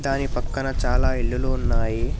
దాని పక్కన చాలా ఇల్లులు ఉన్నాయి.